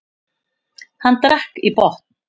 Hann drakk í botn.